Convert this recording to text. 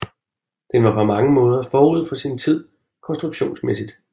Den var på mange områder forud for sin tid konstruktionsmæssigt